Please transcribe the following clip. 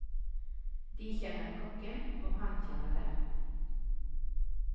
De kjenner kokken, og han kjenner dem.